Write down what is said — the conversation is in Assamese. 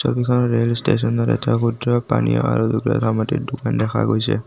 ছবিখনত ৰেল ষ্টেচনৰ এটা পানী আৰু দোকান দেখা গৈছে।